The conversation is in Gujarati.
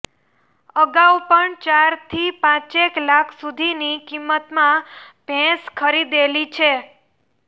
અગાઉ પણ ચારથી પાંચેક લાખ સુધીની કિંમતમાં ભેંસ ખરીદેલી છે